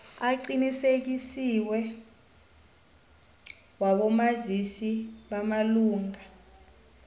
aqinisekisiweko wabomazisi bamalunga